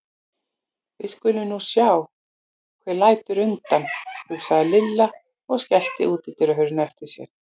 Við skulum nú sjá hver lætur undan, hugsaði Lilla og skellti útidyrahurðinni á eftir sér.